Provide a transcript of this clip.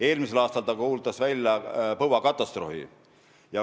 Eelmisel aastal kuulutas Läti välja põuakatastroofi.